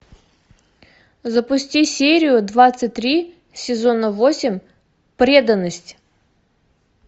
запусти серию двадцать три сезона восемь преданность